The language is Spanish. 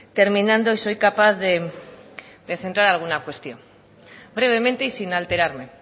terminando y soy capaz de centrar alguna cuestión brevemente y sin alterarme